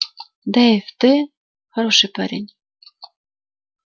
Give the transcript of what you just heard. дейв ты хороший парень